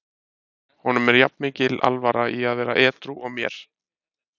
Honum er jafn mikil alvara í að vera edrú og mér.